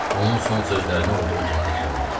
Onun son sözlərini olduğu kimi təkrarladı.